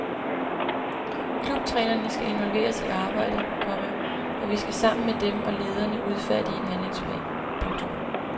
Klubtrænerne skal involveres i arbejdet, komma og vi skal sammen med dem og lederne udfærdige en handlingsplan. punktum